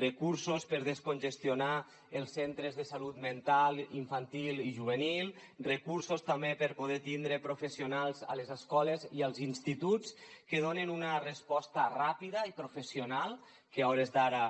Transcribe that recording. recursos per descongestionar els centres de salut mental infantil i juvenil recursos també per poder tindre professionals a les escoles i als instituts que donen una resposta ràpida i professional que a hores d’ara